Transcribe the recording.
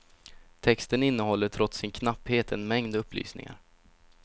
Texten innehåller trots sin knapphet en mängd upplysningar.